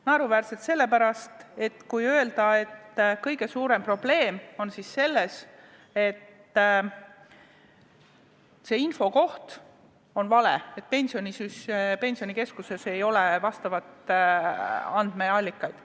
Naeruväärne on öelda, et kõige suurem probleem on selles, et info on vales kohas, et Pensionikeskuses ei ole vajalikke andmeallikaid.